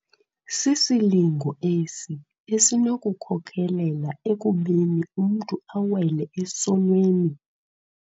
Sisilingo esi esinokukhokelela ekubeni umntu awele esonweni.